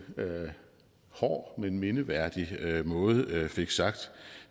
hård men mindeværdig måde fik sagt